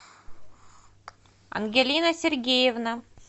ангелина сергеевна